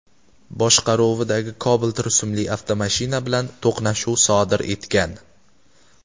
boshqaruvidagi Cobalt rusumli avtomashina bilan to‘qnashuv sodir etgan.